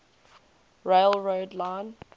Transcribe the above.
rail road line